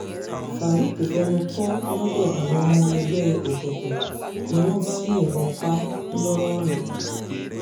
faruq fẹnu kò lọ́dọ̀ àwọn ọmọ ẹgbẹ́ òkùnkùn ni wọ́n bá yìnbọn pa á ńlọrọrìn